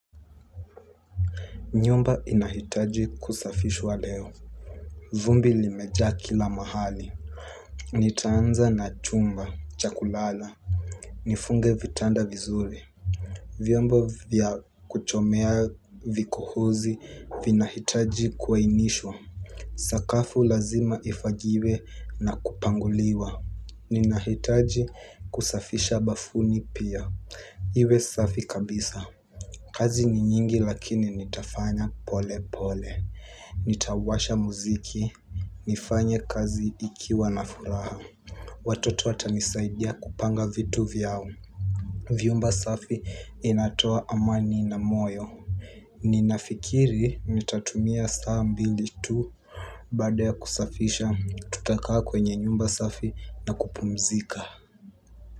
Nyumba inahitaji kusafishwa leo. Vumbi limeja kila mahali. Nitaanza na chumba, cha kulala. Nifunge vitanda vizuri. Vyombo vya kuchomea vikohozi vinahitaji kuainishwa. Sakafu lazima ifagiwe na kupanguliwa. Ninahitaji kusafisha bafuni pia. Iwe safi kabisa. Kazi ni nyingi lakini nitafanya pole pole. Nitawasha muziki, nifanye kazi ikiwa na furaha. Watoto watanisaidia kupanga vitu vyao. Vyumba safi inatoa amani na moyo. Ninafikiri nitatumia saa mbili tu. Baada ya kusafisha, tutakaa kwenye nyumba safi na kupumzika.